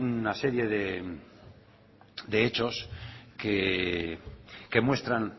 una serie de hechos que muestran